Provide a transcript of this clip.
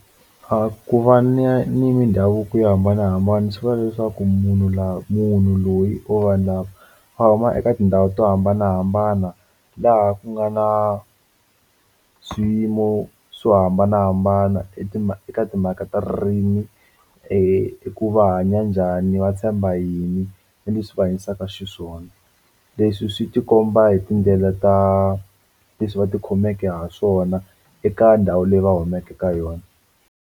A ku va ni ya ni mindhavuko yo hambanahambana swi vula leswaku munhu laha munhu loyi or vanhu lava va huma eka tindhawu to hambanahambana laha ku nga na swiyimo swo hambanahambana i ti eka timhaka ta ririmi eku va hanya njhani va tshemba yini na leswi va hanyisaka xiswona leswi swi tikomba hi tindlela ta leswi va ti khomeke ha swona eka ndhawu leyi va humeke ka yona.